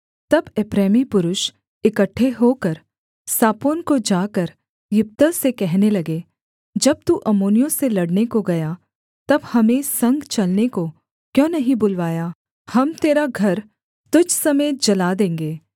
तब एप्रैमी पुरुष इकट्ठे होकर सापोन को जाकर यिप्तह से कहने लगे जब तू अम्मोनियों से लड़ने को गया तब हमें संग चलने को क्यों नहीं बुलवाया हम तेरा घर तुझ समेत जला देंगे